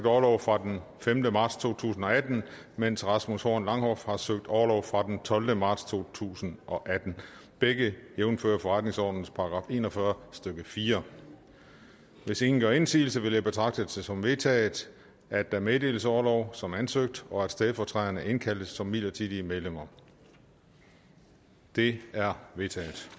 orlov fra den femte marts to tusind og atten medens rasmus horn langhoff har søgt orlov fra den tolvte marts to tusind og atten begge jævnfør forretningsordenens § en og fyrre stykke fjerde hvis ingen gør indsigelse vil jeg betragte det som vedtaget at der meddeles orlov som ansøgt og at stedfortræderne indkaldes som midlertidige medlemmer det er vedtaget